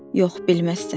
Yox, bilməzsən.